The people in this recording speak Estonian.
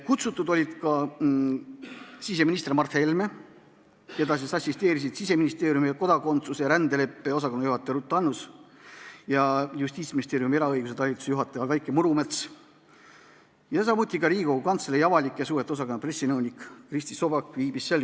Kutsutud oli ka siseminister Mart Helme, keda assisteerisid Siseministeeriumi kodakondsus- ja rändepoliitika osakonna juhataja Ruth Annus ja Justiitsministeeriumi eraõiguse talituse juhataja Vaike Murumets, samuti oli kohal Riigikogu Kantselei avalike suhete osakonna pressinõunik Kristi Sobak.